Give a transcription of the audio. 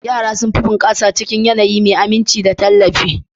Yara sun fi bunƙasa cikin yanayi mai aminci da tallafi.